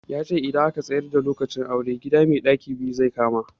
Yace idan aka tsayar da lokacin auren, gida mai ɗaki biyu zai kama.